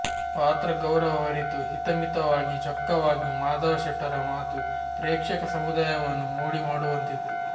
ಪಾತ್ರಗೌರವವರಿತು ಹಿತಮಿತವಾಗಿ ಚೊಕ್ಕವಾಗಿ ಮಾಧವ ಶೆಟ್ಟರ ಮಾತು ಪ್ರೇಕ್ಷಕ ಸಮುದಾಯವನ್ನು ಮೋಡಿಮಾಡುವಂತಿತ್ತು